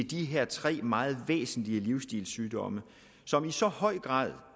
de her tre meget væsentlige livsstilssygdomme som i så høj grad